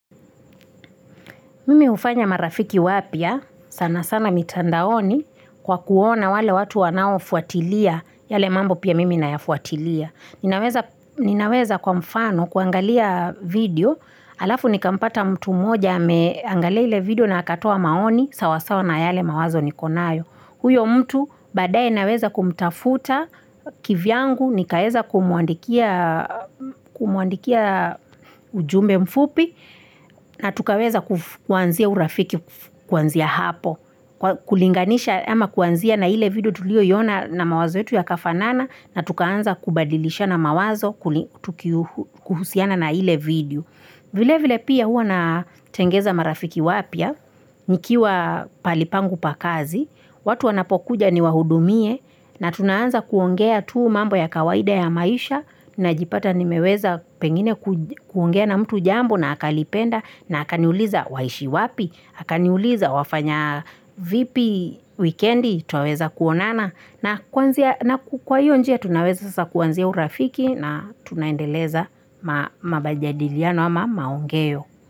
Mimi hufanya marafiki wapya, sana sana mitandaoni kwa kuona wale watu wanaofuatilia, yale mambo pia mimi nayafuatilia. Ninaweza kwa mfano kuangalia video, alafu nikampata mtu mmoja ameangalia ile video na akatoa maoni, sawasawa na yale mawazo niko nayo. Huyo mtu baadae naweza kumtafuta kivyangu nikaeza kumuandikia ujumbe mfupi na tukaweza kuanzia urafiki kuanzia hapo. Kulinganisha ama kuanzia na ile video tuliyoiona na mawazo yetu yakafanana na tukaanza kubadilishana mawazo kuhusiana na ile video. Vile vile pia hua natengeza marafiki wapya, nikiwa palipangu pakazi, watu wanapokuja niwahudumie na tunaanza kuongea tuu mambo ya kawaida ya maisha najipata nimeweza pengine kuongea na mtu jambo na akalipenda na akaniuliza waishi wapi, akaniuliza wafanya vipi wikendi, twaweza kuonana. Na kwa hiyo njia tunaweza sasa kuanzia urafiki na tunaendeleza mabajadiliano ama maongeo.